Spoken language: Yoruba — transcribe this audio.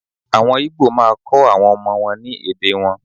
Àwọn igbo maá kọ́ àwọn ọmọ wọn ní èdè wọn.